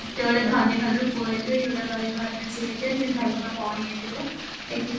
ହଁ ସିଏ ଗୋଟେ ଧନୀ ଘରର ପୁଅ ହେଇଥିବ ଇଏ ଗୋଟେ ଗରିବ ଘରର ଝିଅ ସିଦ୍ଧାର୍ନ୍ତର ଭଉଣୀ ହେଇଥିବା ଦେଖିଚି